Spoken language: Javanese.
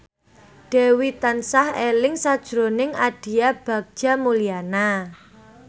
Dewi tansah eling sakjroning Aditya Bagja Mulyana